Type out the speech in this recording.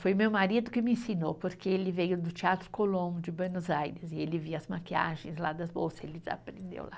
Foi meu marido que me ensinou, porque ele veio do Teatro Colón, de Buenos Aires, e ele via as maquiagens lá das bolsas, ele aprendeu lá.